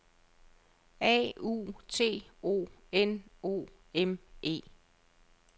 A U T O N O M E